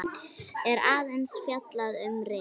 er aðeins fjallað um ryk.